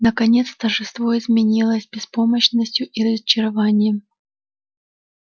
наконец торжество изменилось беспомощностью и разочарованием